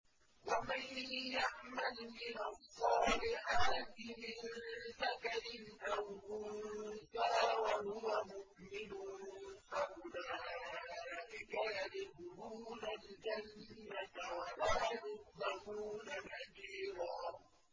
وَمَن يَعْمَلْ مِنَ الصَّالِحَاتِ مِن ذَكَرٍ أَوْ أُنثَىٰ وَهُوَ مُؤْمِنٌ فَأُولَٰئِكَ يَدْخُلُونَ الْجَنَّةَ وَلَا يُظْلَمُونَ نَقِيرًا